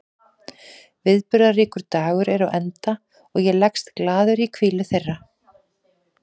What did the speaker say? Viðburðaríkur dagur er á enda og ég leggst glaður í hvílu þeirra.